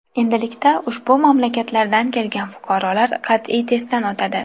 Endilikda ushbu mamlakatlardan kelgan fuqarolar qat’iy testdan o‘tadi.